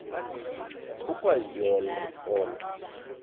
ukwa yo olo